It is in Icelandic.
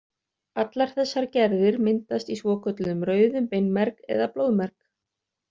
Allar þessar gerðir myndast í svokölluðum rauðum beinmerg eða blóðmerg.